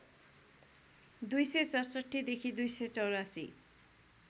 २६७ देखि २८४